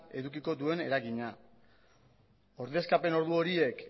edukiko duen eragina ordezkapen ordu horiek